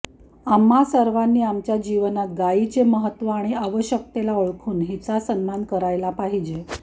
आम्हा सर्वांनी आमच्या जीवनात गायीचे महत्त्व आणि आवश्यकतेला ओळखून हिचा सन्मान करायला पाहिजे